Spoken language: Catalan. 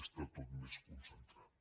està tot més concentrat